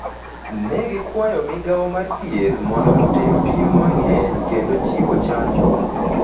Ne gikwayo Migao mar Thieth mondo otim pim mang’eny kendo chiwo chanjo